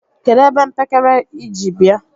kedụ ebe mpekere ị ji bia?